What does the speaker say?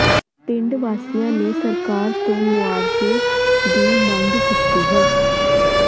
ਪਿੰਡ ਵਾਸੀਆਂ ਨੇ ਸਰਕਾਰ ਤੋਂ ਮੁਆਵਜ਼ੇ ਦੀ ਮੰਗ ਕੀਤੀ ਹੈ